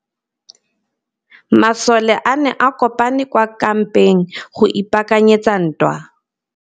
Masole a ne a kopane kwa kampeng go ipaakanyetsa ntwa.